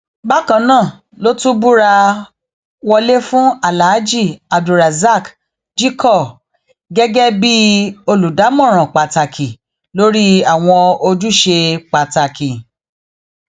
bákan náà ló tún búra wọlé fún aláàjì abdulrahaq jickor gẹgẹ bíi olùdámọràn pàtàkì lórí àwọn ojúṣe pàtàkì